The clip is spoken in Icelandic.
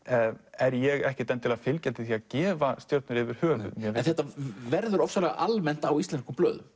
er ég ekkert endilega fylgjandi því að gefa stjörnur yfir höfuð en þetta verður ofsalega almennt á íslenskum blöðum